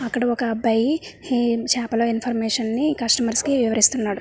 అక్కడ ఒక అబ్బాయి చేపల ఇన్ఫర్మేషన్ నీ కస్టమర్స్ వివరిస్తున్నాడు.